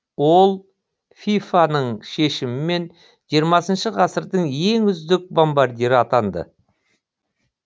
ол фифа ның шешімімен жиырмасыншы ғасырдың ең үздік бомбардирі атанды